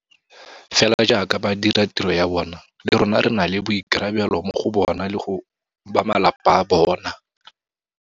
Fela jaaka ba dira tiro ya bona, le rona re na le boikarabelo mo go bona le go bamalapa a bona.